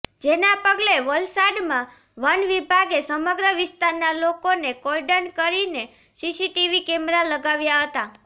જેના પગલે વલસાડમાં વનવિભાગે સમગ્ર વિસ્તારના લોકોને કોર્ડન કરીને સીસીટીવી કેમેરા લગાવ્યા હતા